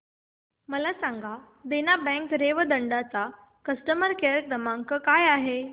मला सांगा देना बँक रेवदंडा चा कस्टमर केअर क्रमांक काय आहे